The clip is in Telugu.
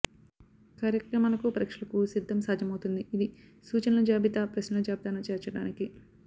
కార్యక్రమాలకు పరీక్షలకు సిద్ధం సాధ్యమవుతుంది ఇది సూచనలు జాబితా ప్రశ్నల జాబితాను చేర్చడానికి